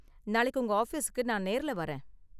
நாளைக்கு உங்க ஆஃபீஸுக்கு நான் நேர்ல வரேன்.